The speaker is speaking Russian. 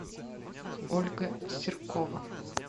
ольга серкова